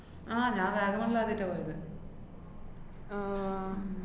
ആഹ് ഞാന്‍ വാഗമണ്ണില്‍ ആദ്യായിട്ടാ പോയത്. ആഹ്